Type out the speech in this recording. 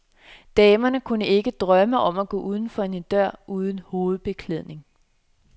Damerne kunne ikke drømme om at gå uden for en dør uden hovedbeklædning.